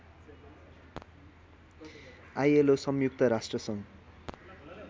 ILO संयुक्त राष्ट्रसङ्घ